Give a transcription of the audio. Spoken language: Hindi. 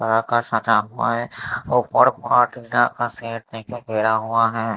पहाड़ का सटा हुआ हैं ऊपर का सेट नहीं गिरा हुआ हैं।